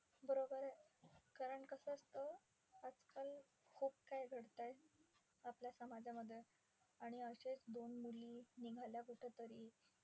बरोबर आहे. कारण कसं असतं, आजकाल खूप काही घडतंय आपल्या समाजामध्ये. आणि अशे दोन मुली निघाल्या कुठे तरी.